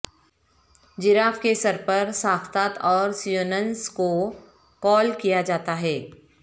graph کے سر پر ساختات اوسیونونز کو کال کیا جاتا ہے